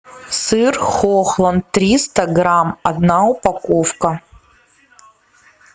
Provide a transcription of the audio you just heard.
сыр хохланд триста грамм одна упаковка